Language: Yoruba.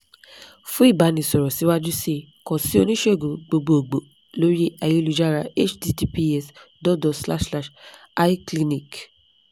fun ìbánisọ̀rọ̀ síwájú kan si oníṣègùn gbogbogbo lori ayélujára https dot dot forward slash forward slash icliniq